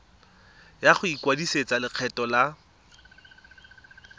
ya go ikwadisetsa lekgetho la